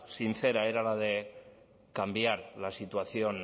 sincera era la de cambiar la situación